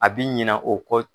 A bɛ ɲina o kɔ